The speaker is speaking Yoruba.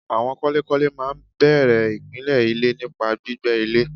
Àwọn kọ́lékọ́lé máa n bèrè ìpìlè ilé nípa gbígbẹ ilè